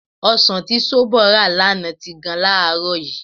Ọsàn tí Ṣóbọ̀ rà lánàá ti gan láàárọ̀ yìí.